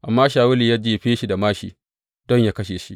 Amma Shawulu ya jefe shi da māshi don yă kashe shi.